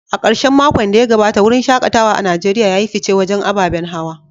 A karshen makon da ya gabata, wurin shaKatawa a Najeriya ya yi fice wajen ababen hawa.